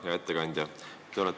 Hea ettekandja!